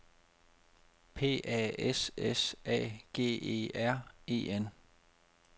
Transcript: P A S S A G E R E N